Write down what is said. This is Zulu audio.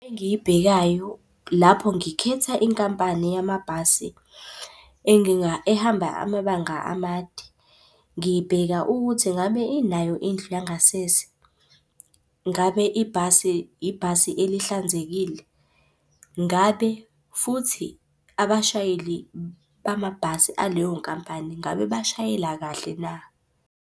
Engiyibhekayo lapho ngikhetha inkampani yamabhasi enginga ehamba amabanga amade. Ngibheka ukuthi ngabe inayo indlu yangasese. Ngabe ibhasi, ibhasi elihlanzekile? Ngabe futhi abashayeli bamabhasi aleyo nkampani, ngabe bashayela kahle na?